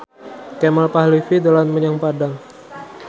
Kemal Palevi dolan menyang Padang